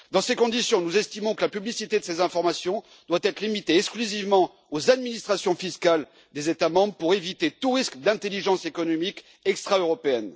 Dans ces conditions, nous estimons que la publicité de ces informations doit être limitée exclusivement aux administrations fiscales des États membres pour éviter tout risque d'espionnage économique extra européen.